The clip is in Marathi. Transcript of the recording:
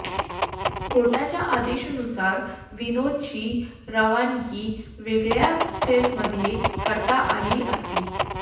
कोर्टाच्या आदेशानुसार विनोदची रवानगी वेगळ्या सेलमध्ये करता आली असती